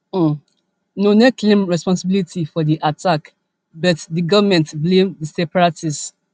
um noone claim responsibility for di attack bit di goment blame di separatists